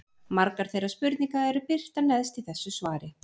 Margar þeirra spurninga eru birtar neðst í þessu svari.